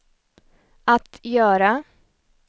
att göra